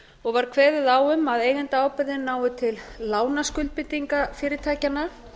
og var kveðið á um að eigendaábyrgðin nái til lánaskuldbindinga fyrirtækjanna